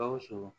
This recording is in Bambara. Gawusu